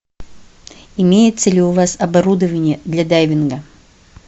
имеется ли у вас оборудование для дайвинга